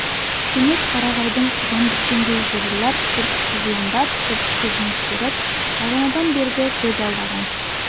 кенет қарағайдың жан біткендей жыбырлап бір тұсы жуандап бір тұсы жіңішкеріп бағанадан бергі көз алдаған